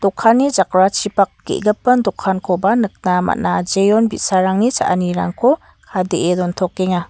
dokanni jakrachipak ge·gipin dokankoba nikna man·a jeon bi·sarangni cha·anirangko kadee dontokenga.